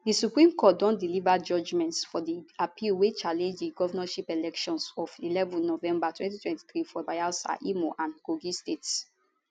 di supreme court don deliver judgments for di appeal wey challenge di govnorship elections of eleven november 2023 for bayelsa imo and kogi states